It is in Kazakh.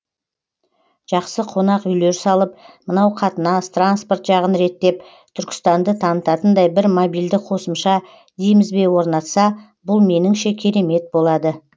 жақсы қонақ үйлер салып мынау қатынас транспорт жағын реттеп түркістанды танытатындай бір мобильді қосымша дейміз бе орнатса бұл меніңше керемет болады